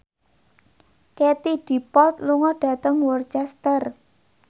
Katie Dippold lunga dhateng Worcester